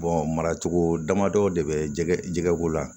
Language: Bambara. mara cogo damadɔ de bɛ jɛgɛ jɛgɛko la